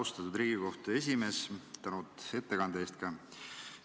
Austatud Riigikohtu esimees, suur tänu ettekande eest!